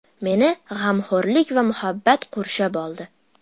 Meni g‘amxo‘rlik va muhabbat qurshab oldi.